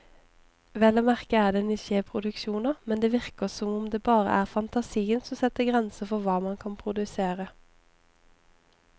Vel å merke er det nisjeproduksjoner, men det virker som om det bare er fantasien som setter grenser for hva man kan produsere.